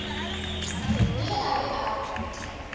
le ge a be a